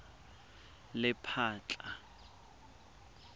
lephatla